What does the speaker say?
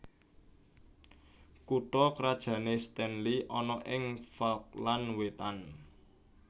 Kutha krajané Stanley ana ing Falkland Wétan